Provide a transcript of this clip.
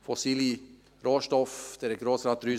Fossile Rohstoffe – Grossrat